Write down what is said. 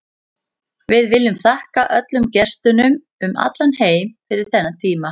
Við viljum þakka öllum gestunum um allan heim fyrir þennan tíma.